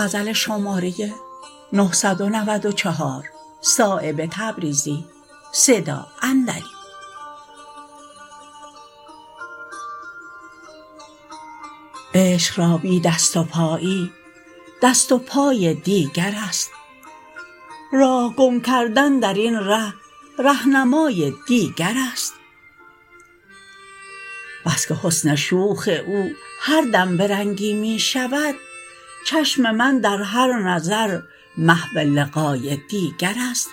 عشق را بی دست و پایی دست و پای دیگرست راه گم کردن درین ره رهنمای دیگرست بس که حسن شوخ او هر دم به رنگی می شود چشم من در هر نظر محو لقای دیگرست